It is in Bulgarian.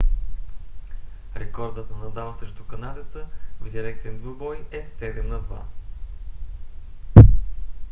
рекордът на надал срещу канадеца в директен двубой е 7–2